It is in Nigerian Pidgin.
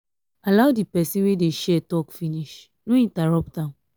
allow di person wey dey share talk finish no interrupt am